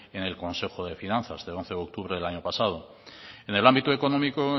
en el consejo de finanzas del once de octubre del año pasado en el ámbito económico